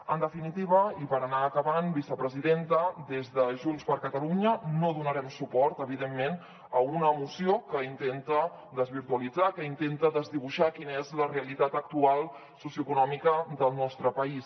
en definitiva i per anar acabant vicepresidenta des de junts per catalunya no donarem suport evidentment a una moció que intenta desvirtualitzar que intenta desdibuixar quina és la realitat actual socioeconòmica del nostre país